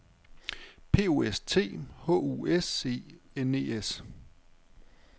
P O S T H U S E N E S